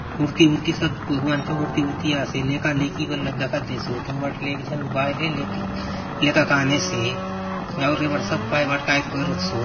मूर्ति उर्ति सब भगवान चो मूर्ति उर्ति आसे लेका - लेकि बले दखा देसोत हुन बाटले एक झन बायले लेक लेका के आनेसे आउर ये पाट सपाय बाटे कायतो करसोत।